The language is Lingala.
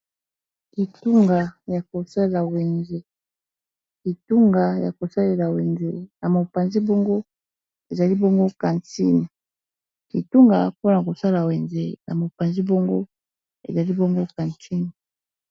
Kitunga Yako sala lela wenze na mopanzi bongo ezali quantine.